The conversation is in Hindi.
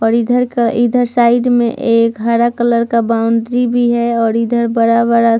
और इधर का इधर साइड में एक हरा कलर का बाउंड्री भी है और इधर बड़ा वाला --